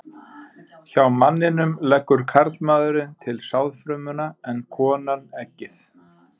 Hjá manninum leggur karlmaðurinn til sáðfrumuna en konan eggið.